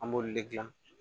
An b'olu le gilan